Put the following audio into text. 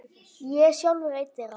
Ég er sjálfur einn þeirra.